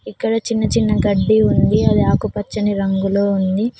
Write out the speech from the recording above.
ఇక్కడ చిన్న చిన్న గడ్డి ఉంది అది ఆకుపచ్చని రంగులోని ఉంది.